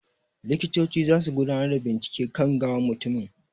Likitoci zasu gudanar da bincike kan gawan mutumin.